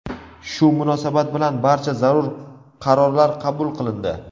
Shu munosabat bilan barcha zarur qarorlar qabul qilindi.